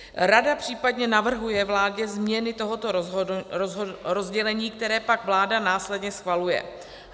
Rada případně navrhuje vládě změny tohoto rozdělení, které pak vláda následně schvaluje.